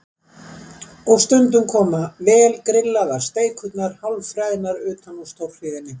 Og stundum koma vel grillaðar steikurnar hálf freðnar utan úr stórhríðinni.